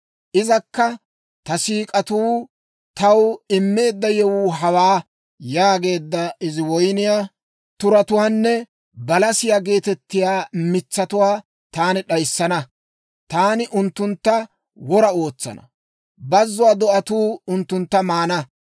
Izakka, ‹Ta siik'atuu taw immeedda yewuu hawaa› yaageedda izi woyniyaa turatuwaanne balasiyaa geetettiyaa mitsatuwaa taani d'ayissana; taani unttuntta wora ootsana; bazzuwaa do'atuu unttuntta maana.